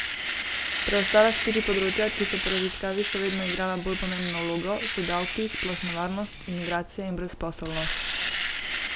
Preostala štiri področja, ki so po raziskavi še vedno igrala bolj pomembno vlogo, so davki, splošna varnost, imigracije in brezposelnost.